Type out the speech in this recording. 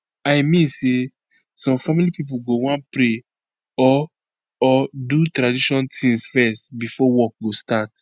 i mean say some family pipo go wan pray or or do tradition tings fezz before work go start